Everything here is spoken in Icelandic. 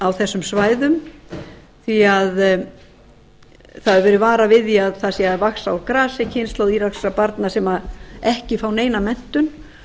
á þessum svæðum því það hefur verið farið við því að það sé að vaxa úr grasi kynslóð írakskra barna sem ekki fá neina menntun